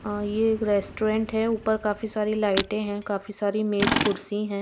और ये एक रेस्टोरेंट है ऊपर काफी सारी लाइटें हैं काफी सारी मेज कुर्सी हैं।